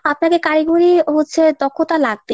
আপনাদের কারিগরি হচ্ছে দক্ষতা লাগবেই।